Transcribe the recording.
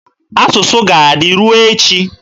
Asụsụ ga-adị ruo echi.